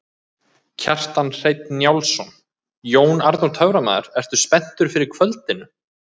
Kjartan Hreinn Njálsson: Jón Arnór töframaður, ertu spenntur fyrir kvöldinu?